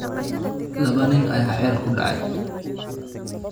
Laba nin ayaa ceel ku dhacay